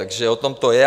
Takže o tom to je.